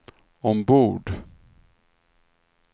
ombord